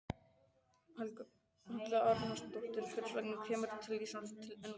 Helga Arnardóttir: Hvers vegna kemurðu til Íslands til innkaupa?